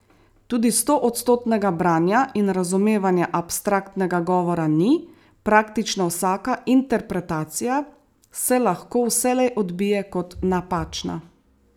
Tudi stoodstotnega branja in razumevanja abstraktnega govora ni, praktično vsaka interpretacija se lahko vselej odbije kot napačna.